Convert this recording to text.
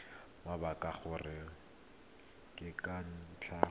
mabaka gore ke ka ntlha